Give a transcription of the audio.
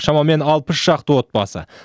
шамамен алпыс шақты отбасы